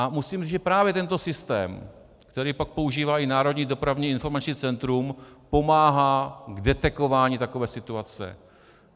A musím říct, že právě tento systém, který pak používá i Národní dopravní informační centrum, pomáhá v detekování takovéto situace.